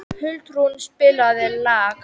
Huldrún, spilaðu lag.